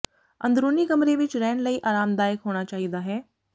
ਅੰਦਰੂਨੀ ਕਮਰੇ ਵਿੱਚ ਰਹਿਣ ਲਈ ਆਰਾਮਦਾਇਕ ਹੋਣਾ ਚਾਹੀਦਾ ਹੈ